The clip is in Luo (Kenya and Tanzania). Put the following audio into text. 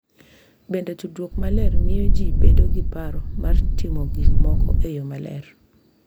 Bende, tudruok maler miyo ji bedo gi paro mar timo gik moko e yo maler .